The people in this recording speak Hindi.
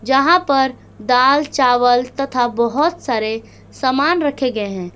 जहां पर दाल चावल तथा बहुत सारे सामान रखे गए हैं।